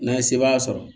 N'an ye sebaaya sɔrɔ